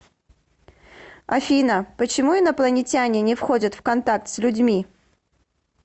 афина почему инопланетяне не входят в контакт с людьми